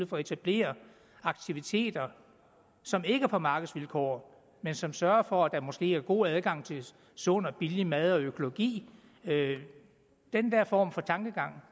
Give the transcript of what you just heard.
for at etablere aktiviteter som ikke er på markedsvilkår men som sørger for at der måske er god adgang til sund og billig mad og økologi den der form for tankegang